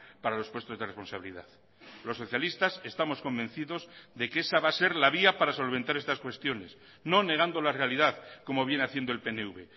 para los puestos de responsabilidad los socialistas estamos convencidos de que esa va a ser la vía para solventar estas cuestiones no negando la realidad como viene haciendo el pnv